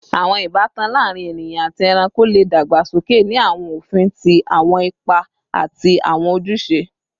Awọn ibatan laarin eniyan ati ẹranko le dagbasoke ni awọn ofin ti awọn ipa ati awọn ojuse